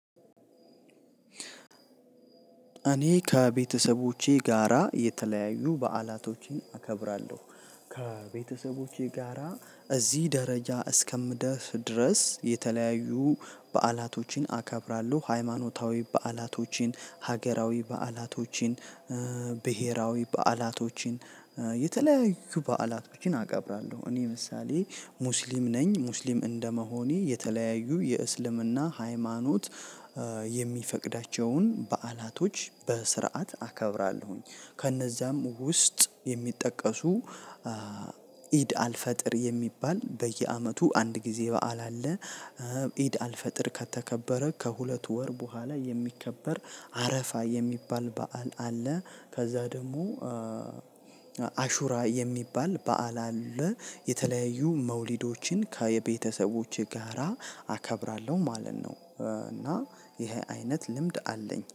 እኔ ከቤተሰቦቼ ጋራ የተለያዩ በዓላቶችን አከብራለሁ። ከቤተሰቦቼ ጋራ እዚህ ደረጃ እስከምደርስ ድረስ የተለያዩ በዓላቶችን አከብራለሁ። ሃይማኖታዊ በዓላቶችን፣ ሀገራዊ በዓላቶችን ብሄራዊ በዓላቶችን የተለያዩ በዓላቶችን አከብራለሁ። እኔ ምሳሌ ሙስሊም ነኝ። ሙስሊም እንደመሆኔ የተለያዩ የእስልምና ሃይማኖት የሚፈቅዳቸውን በዓላቶች በስርዓት አከብራለሁኝ። ከነዛም ውስጥ የሚጠቀሱ ኢድ አልፈጥር የሚባል በየዓመቱ አንድ ጊዜ በዓል አለ። ኢድ አልፈጥር ከተከበረ ከሁለት ወር በኋላ የሚከበር አረፋ የሚባል በዓል አለ። ከዛ ደግሞ አሹራ የሚባል በዓል አለ። የተለያዩ መውሊዶችን ከቤተሰቦቼ ጋራ አከብራለሁ ማለት ነው። እና ይሄ አይነት ልምድ አለኝ።